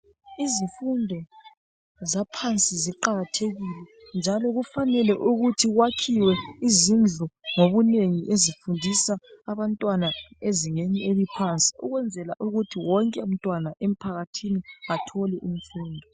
izifundo zaphansi ziqakathekile njalo kufanele ukuthi kwakhiwe izindlu ngobunengi ezifundisa abantwana ezingeni eliphansi ukuthi wonke mntwana emphakathini ethole imfundo